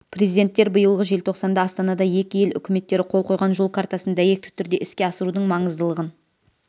президенттер биылғы желтоқсанда астанада екі ел үкіметтері қол қойған жол картасын дәйекті түрде іске асырудың маңыздылығын